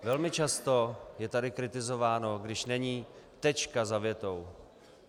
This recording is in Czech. Velmi často je tady kritizováno když není tečka za větou.